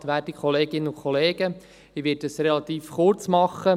Ich werde es relativ kurz machen.